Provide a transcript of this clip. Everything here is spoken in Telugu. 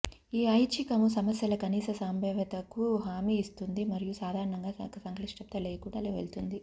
ఈ ఐచ్చికము సమస్యల కనీస సంభావ్యతకు హామీ ఇస్తుంది మరియు సాధారణంగా సంక్లిష్టత లేకుండా వెళుతుంది